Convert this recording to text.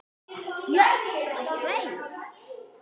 Björn: Af hverju?